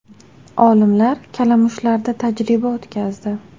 Olimlar kalamushlarda tajriba o‘tkazdi.